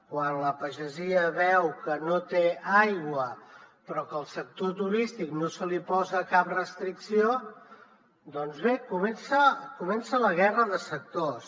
quan la pagesia veu que no té aigua però que al sector turístic no se li posa cap restricció doncs bé comença la guerra de sectors